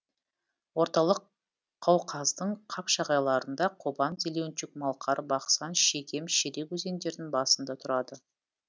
орталық қауқаздың қапшағайларында қобан зеленчук малқар бақсан шегем шерек өзендерінің басында тұрады